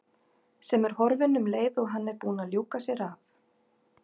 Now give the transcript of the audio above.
Sem er horfin um leið og hann er búinn að ljúka sér af.